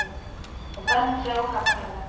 og benti á gagnaugað.